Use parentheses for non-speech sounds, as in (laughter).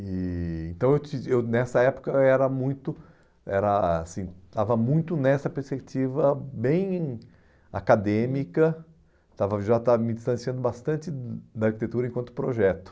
E então, (unintelligible) ãh nessa época, eu era muito era assim eu estava muito nessa perspectiva bem acadêmica, estava já estava me distanciando bastante da arquitetura enquanto projeto.